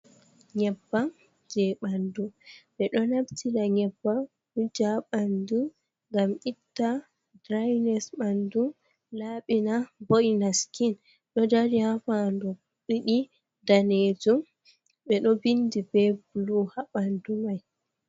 Nyebam je bandu be do naftira nyebam wuja bandu gam itta drines bandu labina boyna skin ,do dari hafandu didi daneju be do vindi be bulu habandu mai.